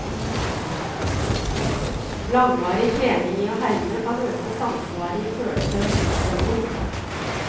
Langvarig trening i å herme, kan øke samsvaret i følelser og sinnsstemning.